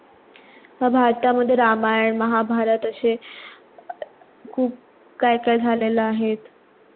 व भरता मध्ये रामायण महाभारत आशे अं खूप काय काय झालेल आहेत.